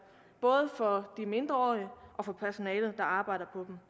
både for de mindreårige og for personalet der arbejder